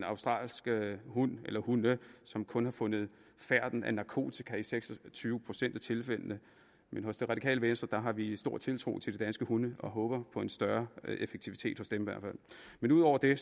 australske hunde som kun har fundet færten af narkotika i seks og tyve procent af tilfældene men hos det radikale venstre har vi stor tiltro til de danske hunde og håber på en større effektivitet hos dem men ud over det